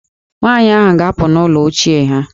Nwaanyị ahụ ga-apụ n'ụlọ ochie ha.